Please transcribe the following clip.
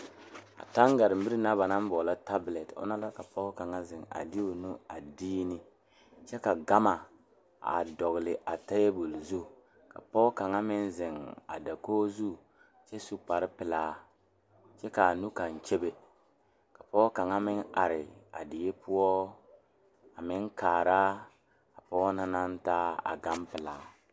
Taŋgaremire na ba naŋ boɔlɔ tabɔlɛt ona la ka pɔge kaŋa ziŋ a de o nu dii ne kyɛ ka gama a dɔgle a tabol zu ka pɔgɔ ka meŋ ziŋ a dakoge zu kyɛ su kpare pilaa kyɛ kaa nu kaŋ kyebe ka pɔge kaŋ meŋ are die poɔ a meŋ kaara a pɔge na naŋ taa a gan pilaa.